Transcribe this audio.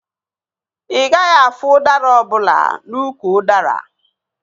Ị gaghị afụ udara ọbụla n'úkwù udara